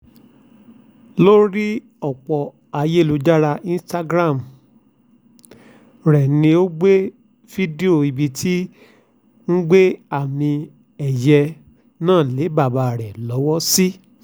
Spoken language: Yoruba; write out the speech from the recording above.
lórí ọ̀pọ̀ ayélujára instagram rẹ ló gbé fídíò ibi tó ti ń gbé àmì-ẹ̀yẹ náà lé bàbá ẹ̀ lọ́wọ́ sí